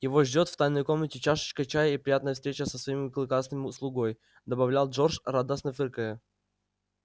его ждёт в тайной комнате чашечка чая и приятная встреча со своим клыкастым слугой добавлял джордж радостно фыркая